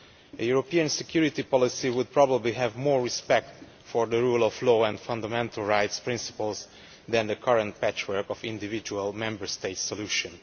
A European security policy would probably have more respect for the rule of law and fundamental rights principles than the current patchwork of individual Member State solutions.